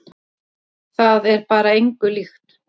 Það er bara engu líkt.